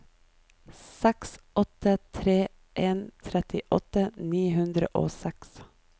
seks åtte tre en trettiåtte ni hundre og seks